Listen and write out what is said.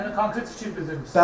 Yəni konkret fikir bildirmisiz.